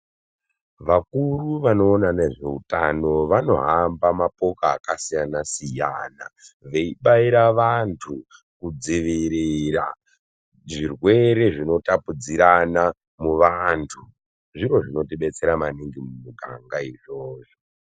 Vakuru vano ona nezve utano vano hamba mapoka aka siyana siyana vei baira vantu ku dzivirira zvirwere zvino tapudzirana mu vantu zviro zvinoti detsera maningi mu miganga izvozvo.